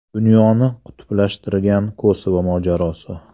Dunyoni qutblashtirgan Kosovo mojarosi.